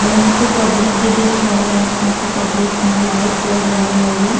हौ यहाँँ पे पब्लिक बी दिख रहल हैन। काफी पब्लिक हैन। लाइट जल रहल हउए।